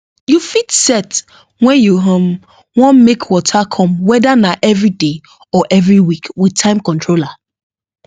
you fit set when you um want make water come weda na every day or every week with timer controller